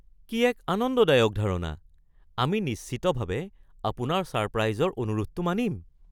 কি এক আনন্দদায়ক ধাৰণা! আমি নিশ্চিতভাৱে আপোনাৰ ছাৰপ্ৰাইজৰ অনুৰোধটো মানিম।